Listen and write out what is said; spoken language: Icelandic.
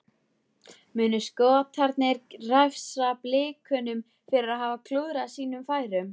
Munu Skotarnir refsa Blikunum fyrir að hafa klúðrað sínum færum?